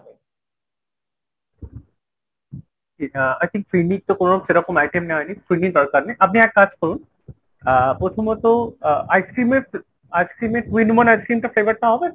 Ah i think ফিরনির তো সেরকম কোনো item নেওয়া হয়নি। ফিরনির দরকার নেই আপনি এক কাজ করুন আহ প্রথমত আহ ice-cream এর two in one ice-cream এর flavor টা হবে ?